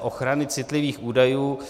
ochrany citlivých údajů?